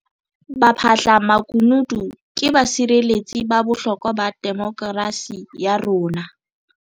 Baphahlamakunutu ke basireletsi ba bohlokwa ba demokerasi ya rona.